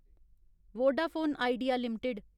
Vodafone IDEA limited